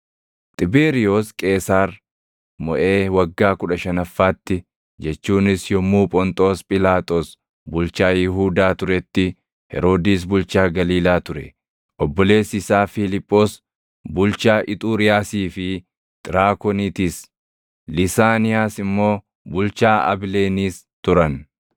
Xibeeriyoos Qeesaar moʼee waggaa kudha shanaffaatti jechuunis yommuu Phonxoos Phiilaaxoos bulchaa Yihuudaa turetti, Heroodis bulchaa Galiilaa ture; obboleessi isaa Fiiliphoos bulchaa Ixuriyaasii fi Xiraakonitiis, Lisaaniiyaas immoo bulchaa Abileeniis turan;